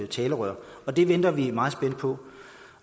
talerør og det venter vi meget spændt på